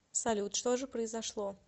салют что же произошло